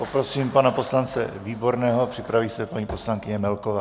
Poprosím pana poslance Výborného, připraví se paní poslankyně Melková.